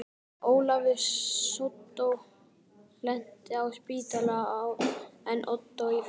Ólafur sódó lenti á spítala en Ottó í fangelsi.